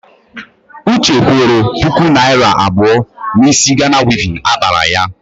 Uche kwụrụ puku naịra abụọ n'ísí Gana wivin akpara ya.